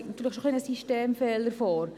Ich denke, da liegt ein Systemfehler vor.